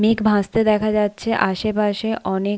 মেঘ ভাসতে দেখা যাচ্ছে আশপাশে অনেক--